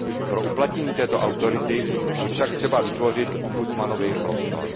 Pro uplatnění této autority je však třeba vytvořit ombudsmanovi prostor.